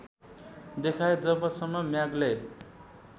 देखाए जबसम्म म्यागले